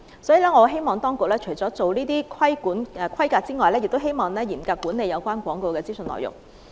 所以，我希望當局除了規管先進療法製品的規格外，亦要嚴格管理有關廣告的資訊內容。